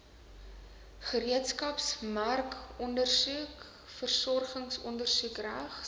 gereedskapsmerkondersoek vervolgingsondersoek regs